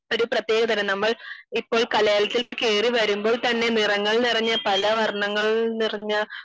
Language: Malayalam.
ഒരു പ്രത്യേക തരം നമ്മൾ ഇപ്പോൾ കലാലയത്തിൽ കേറി വരുമ്പോൾ തന്നെ നിറങ്ങൾ നിറഞ്ഞ പല വർണങ്ങൾ നിറഞ്ഞ